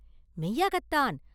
“மெய்யாகத்தான்!